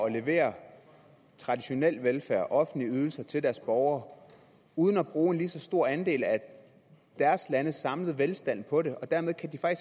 at levere traditionel velfærd offentlige ydelser til deres borgere uden at bruge en lige så stor andel af deres landes samlede velstand på det og dermed kan de